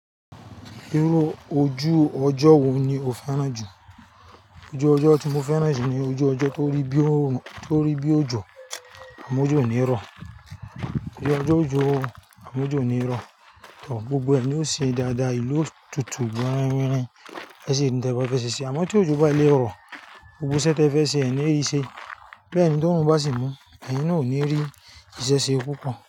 Irú ojú ọjọ́ wo ni o fẹ́ràn jù? Ojú ọjọ́ tí mo fẹ́ràn jù ni ojú ọjọ́ tó rí bí òjò, àmọ́ òjò ò ní rọ̀. Ojú ọjọ́ òjò, àmọ́ òjò ò ní rọ̀, tor gbogbo ẹnì o ṣe dáadáa, ìlú otutù, gbogbo ẹni ẹ́ ṣe ní tẹ fẹ́ ṣe ṣe. Àmọ́ tí ojú bá lé rọ̀, gbogbo iṣẹ́ tí ẹ fẹ́ ṣe, ẹ ní rí ṣe. Bẹ́ẹ̀ ni t'órun bá sì mú, ẹ̀yin náà ò ní rí ìṣesẹ́ púpọ̀